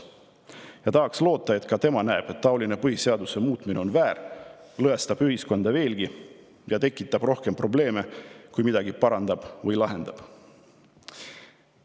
Ja tahaks loota, et ka tema näeb, et taoline põhiseaduse muutmine on väär, lõhestab ühiskonda veelgi ja tekitab rohkem probleeme, kui midagi parandab või lahendab.